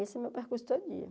Esse é o meu percurso todo dia.